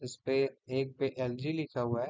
इसपे एक big L G लिखा हुआ है।